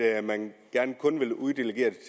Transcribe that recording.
at man kun vil uddelegere